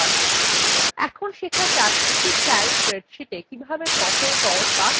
এখন শেখা যাক একটি calc স্প্রেডশীটে কিভাবে তথ্য sort বা সাজানো যায়